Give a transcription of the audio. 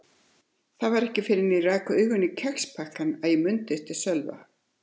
Það var ekki fyrr en ég rak augun í kexpakkann að ég mundi eftir Sölva.